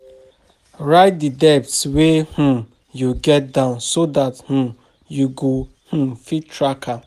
Write di debts wey um you get down so dat um you go um fit track dem